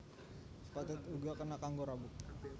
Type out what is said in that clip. Pethèt uga kena kanggo rabuk